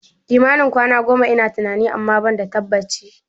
Kimanin kwana goma ina tunani, amma ban da tabbaci